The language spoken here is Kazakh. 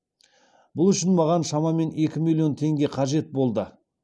бұл үшін маған шамамен екі миллион теңге қажет болды